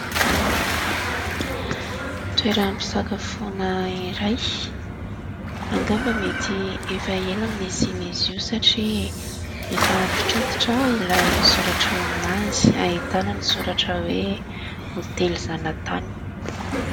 Toeram-pisakafoana iray, angamba mety efa ela no nisian'izy io satria efa antitrantitra ilay soratra eo aminazy. Ahitana ny soratra hoe : hôtely zanatany.